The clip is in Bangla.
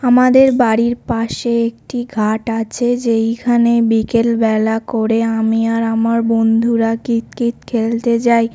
আমাদের বাড়ির পাশে একটি ঘাট আছে যেইখানে বিকেল বেলা করে আমি আর আমার বন্ধুরা কিত কিত খেলতে যায়।